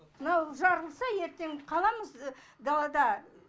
мынау жарылса ертең қаламыз далада